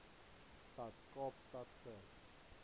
stad kaapstad se